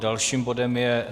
Dalším bodem je